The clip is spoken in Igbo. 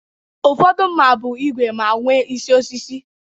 Ụfọdụ mma bụ ígwè ma nwe isi osisi